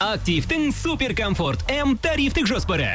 активтің супер комфорт м тарифтік жоспары